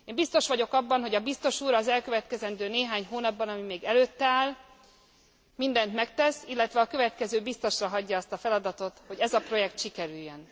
Én biztos vagyok abban, hogy a biztos úr az elkövetkezendő néhány hónapban, ami még előtte áll, mindent megtesz, illetve a következő biztosra hagyja azt a feladatot, hogy ez a projekt sikerüljön.